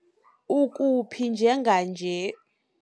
Ukuphi njenganje?